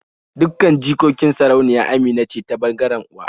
Dukkan jikokin sarauniya Amina ce ta ɓangaren uwa